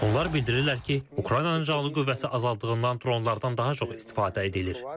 Onlar bildirirlər ki, Ukraynanın canlı qüvvəsi azaldığından dronlardan daha çox istifadə edilir.